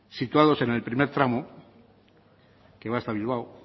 situados en el primer tramo que va hasta bilbao